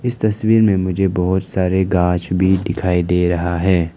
इस तस्वीर में मुझे बहोत सारे घास भी दिखाई दे रहा है।